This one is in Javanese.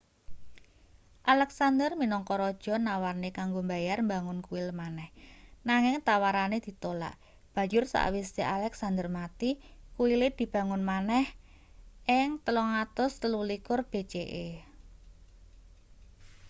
alexander minangka raja nawarne kanggo mbayar mbangun kuil maneh nanging tawarane ditolak banjur sakwise alexander mati kuile dibangun maneh ing 323 bce